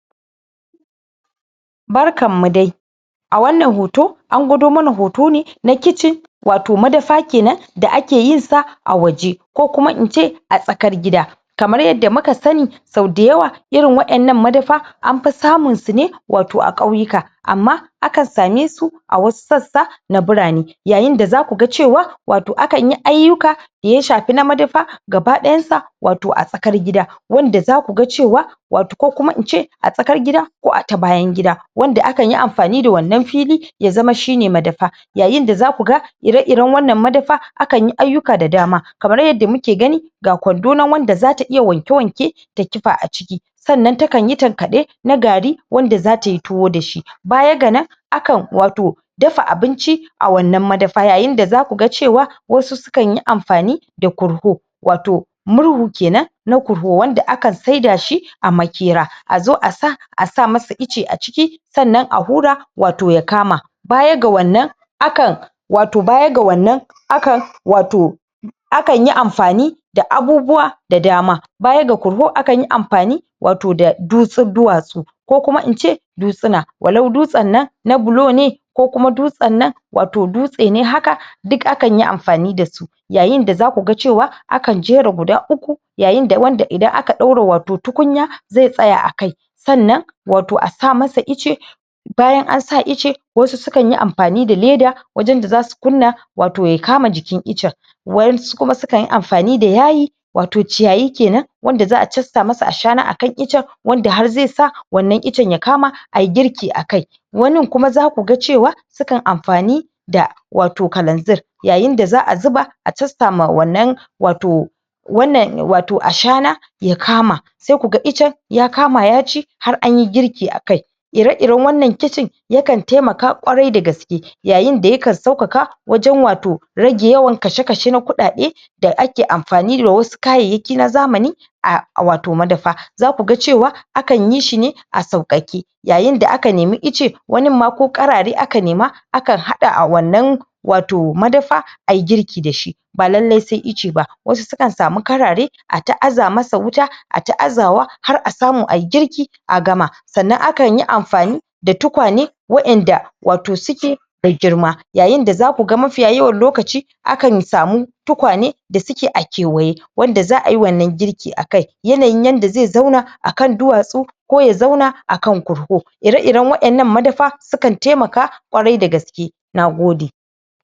Barkan mu dai! A wannan hoto, an gwado mana hoto ne na kitchen wato madafa kenan da ake yin sa a waje, ko kuma ince a tsakar gida. Kamar yadda muka sani sau da yawa irin wannan madafa, anfi samun su ne wato a ƙauyuka. Amma akan same su a wasu sassa na birane. Yayin da za ku ga cewa wato akan yi ayukka da ya shafi na madafa gaba ɗayan sa wato a tsakar gida. Wanda za ku ga cewa wato ko kuma ince a tsakar gida ko a ta bayan gida, wanda akan yi amfani da wannan fili ya zama shine madafa. Yayin da za ku ga ire-iren wannan madafa akan yi ayukka da dama kamar yadda muke gani ga kwando nan wanda za ta iya wanke-wanke, ta kifa a ciki. Sannan ta kanyi tankaɗe na gari wanda za ta yi tuwa da shi. Baya ga nan akan wato dafa abinci a wannan madafa. Yayin da za ku ga cewa wasu sukan yi amfani da korho wato murhu kenan na korho wanda akan saida shi a maƙera. A zo a sa, a sa masa icce a ciki sanna a hura wato ya kama. Baya ga wannan akan wato baya ga wannan, aka wato akan yi amfani da abubuwa da dama. Baya ga korho akan yi amfani wato da dutsu duwatsu, ko kuma ince dutsuna. Walau dutsen nan na bulo ne, ko kuma dutsen nan wato dutse ne haka duk akan yi amfani da su. Yayin da za ku ga cewa akan jera guda uku yayin da wanda idan aka ɗora wato tukunya zai tsaya akai. Sannan wato a sa masa icce bayan an sa icce wasu sukan yi amfani da leda, wajen da su kunna wato ya kama jikin iccen. Waƴansu kuma su kan yi amfani da yayi wato ciyayi kenan, wanda za'a casta masa ashana akan icce wanda har zai sa wannan iccen ya kama ayi girki akai. Wanin kuma za ku ga cewa sukan amfani da wato kalanzir. Yayin da za'a zuba a casta ma wannan wato wannan wato ashana ya kama sai ku ga iccen ya kama ya ci har anyi girki akai. Ire-iren wannan kitchen yakan taimaka ƙwarai da gaske. Yayin da yakan sauƙaƙa wajen wato rage yawan kashe-kashe na kuɗaɗe da ake amfani da wasu kayayyaki na zamani a wato madafa. Za ku ga cewa akan yi shi ne a sauƙaƙe. Yayin da aka nemi icce wanin ma ko karare aka neman aka hada a wannan wato madafa ayi girki da shi ba lallai sai icce ba, wasu sukan samu karare ata aza masa wuta, ata azawa har a samu ayi girki a gama. Sannan akan yi amfani da tukwane waƴanda wato suke da girma. Yayin da za ku ga mafiya yawan lokaci akan samu tukwane da suke a kewaye wanda za'a yi wannan girki akai. Yanayin yanda zai zauna akan duwatsu ko ya zauna akan korho, ire-iren waƴannan madafa sukan taimaka ƙwarai da gaske. Nagode!